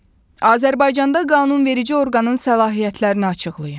Azərbaycanda qanunverici orqanın səlahiyyətlərini açıqlayın.